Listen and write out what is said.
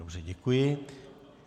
Dobře, děkuji.